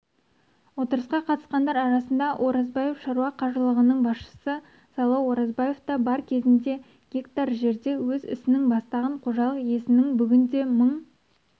отырысқа қатысқандар арасында оразбаев шаруа қожалығының басшысы сайлау оразбаев та бар кезінде гектар жерде өз ісін бастаған қожалық иесінің бүгінде мың